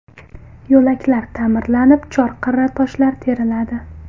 Yo‘laklar ta’mirlanib, chorqirra toshlar teriladi.